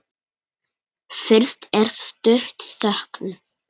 Fyrst er stutt þögn.